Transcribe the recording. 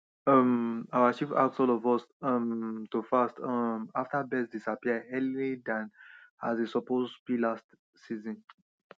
um our chief ask all of us um to fast um after birds disappear early than as e suppose be last season